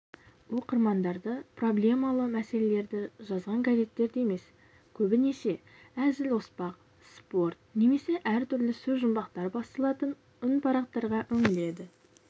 оқырмандарды проблемалы мәселелерді жазған газеттерді емес көбінесе әзіл-оспақ спорт немесе әртүрлі сөзжұмбақтар басылатын үнпарақтарға үңіледі